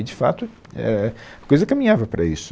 E, de fato, é, a coisa caminhava para isso.